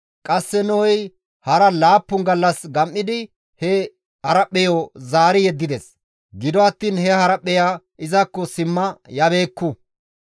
Qasse Nohey hara laappun gallas gam7idi he haraphpheyo zaari yeddides; gido attiin he haraphpheya izakko simma yabeekku.